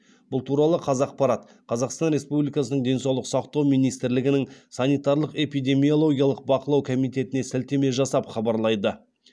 бұл туралы қазақпарат қазақстан республикасының денсаулық сақтау министрлігінің санитарлық эпидемиологиялық бақылау комитетіне сілтеме жасап хабарлайды